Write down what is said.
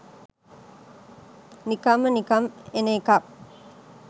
නිකම්ම නිකම් එන එකක්.